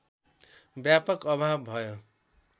व्यापक अभाव भयो